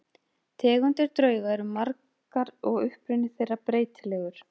Tegundir drauga eru margar og uppruni þeirra breytilegur.